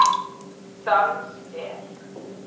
Dans er?